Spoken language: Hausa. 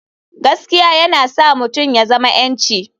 Gaskiya yana sa mutum ya zama 'yanci.